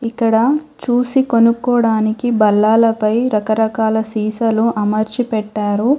ఇక్కడ చూసి కొనుక్కోడానికి భల్లాలపై రకరకాల సీసాలు అమర్చి పెట్టారు.